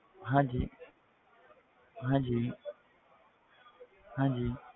ਹਾਂਜੀ ਹਾਂਜੀ ਹਾਂਜੀ